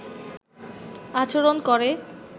আচরন করে